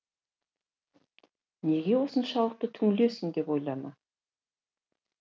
неге осыншалықты түңілесің деп ойлама